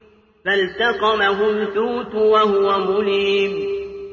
فَالْتَقَمَهُ الْحُوتُ وَهُوَ مُلِيمٌ